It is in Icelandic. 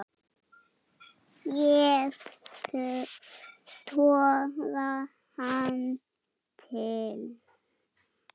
Ég toga hann til mín.